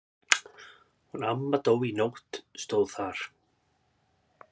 Hún amma dó í nótt stóð þar.